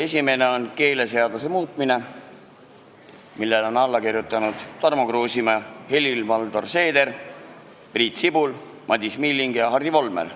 Esimene on keeleseaduse muutmise seaduse eelnõu, millele on alla kirjutanud Tarmo Kruusimäe, Helir-Valdor Seeder, Priit Sibul, Madis Milling ja Hardi Volmer.